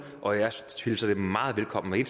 og jeg hilser det meget velkommen